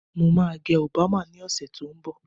Mo máa gẹ Obama ní ọ̀sẹ̀ tó ń bọ̀